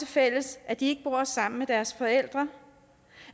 fælles at de ikke bor sammen med deres forældre